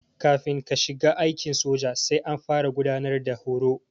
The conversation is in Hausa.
Kafin ka shiga aikin soja sai an fara gudanar da horo.